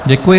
Děkuji.